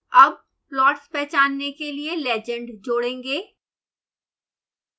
अब प्लॉट्स पहचानने के लिए legend जोडेंगे